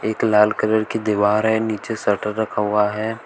एक लाल कलर की दीवार है नीचे शटर रखा हुआ है।